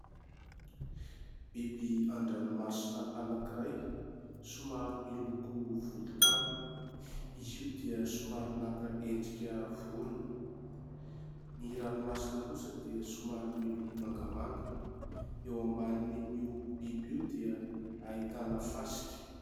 Biby an-dranomasina anankiray somary miloko volontany. Izy io dia somary naka endrika vorona. Ny ranomasina kosa dia somary miloko mangamanga. Eo ambanin'io biby io dia hahitana fasika.